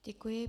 Děkuji.